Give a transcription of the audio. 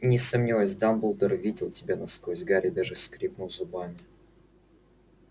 не сомневаюсь дамблдор видел тебя насквозь гарри даже скрипнул зубами